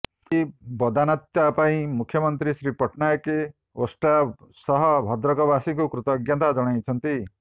ଏହି ବଦାନ୍ୟତା ପାଇଁ ମୁଖ୍ୟମନ୍ତ୍ରୀ ଶ୍ରୀ ପଟ୍ଟନାୟକ ଓଷ୍ଟା ସହ ଭଦ୍ରକ ବାସୀଙ୍କୁ କୃତଜ୍ଞତା ଜଣାଇଛନ୍ତି